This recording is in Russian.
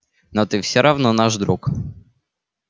но ты всё равно наш друг